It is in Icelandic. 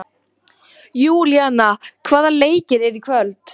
Júlíana, hvaða leikir eru í kvöld?